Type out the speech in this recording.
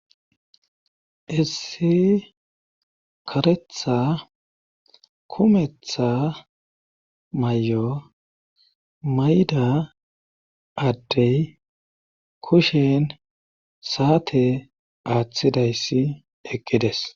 essi karetha kumetha may7o mayda addey kushen saate aaththidayssi eqides